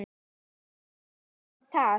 Jæja, ertu til í það?